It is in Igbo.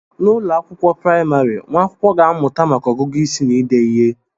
N'ụlọ akwụkwọ praịmarị, nwa akwụkwọ na-amụta maka ọgụgụ isi na ide ihe